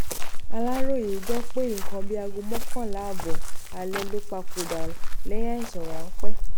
aláròye gbọ́ pé nǹkan bíi aago mọ́kànlá ààbọ̀ alẹ́ ló papòdà lẹ́yìn àìsàn ráńpẹ́